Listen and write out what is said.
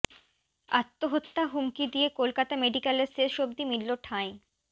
আত্মহত্য়া হুমকি দিয়ে কলকাতা মেডিক্য়ালে শেষ অবধি মিলল ঠাঁই